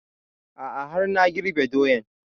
A'a har na girbe doyan